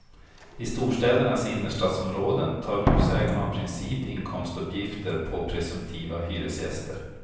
I storstädernas innerstadsområden tar husägarna av princip inkomstuppgifter på presumtiva hyresgäster.